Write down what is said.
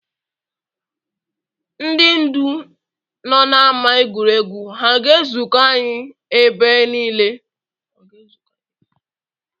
Ndị ndu nọ n’ámá egwuregwu, ha ga-ezuko anyị ebe niile?